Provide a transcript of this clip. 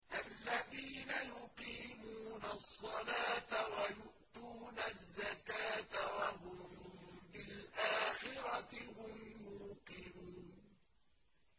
الَّذِينَ يُقِيمُونَ الصَّلَاةَ وَيُؤْتُونَ الزَّكَاةَ وَهُم بِالْآخِرَةِ هُمْ يُوقِنُونَ